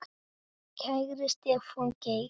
Kæri Stefán Geir.